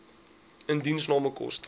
indiensname koste